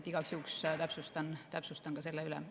Ma igaks juhuks täpsustan ka selle üle.